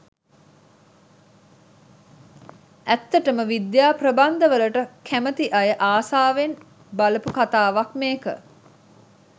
ඇත්තටම විද්‍යා ප්‍රබන්ධ වලට කැමති අය ආසාවෙන් බලපු කතාවක් මේක.